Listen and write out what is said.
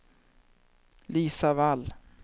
Lisa Wall